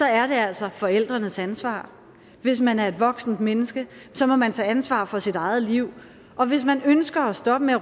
er det altså forældrenes ansvar hvis man er et voksent menneske må man tage ansvar for sit eget liv og hvis man ønsker at stoppe med at